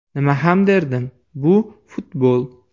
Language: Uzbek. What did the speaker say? Nima ham derdim, bu futbol.